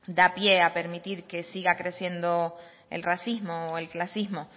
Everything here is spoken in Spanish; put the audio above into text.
da pie a permitir que siga creciendo el racismo o el clasismo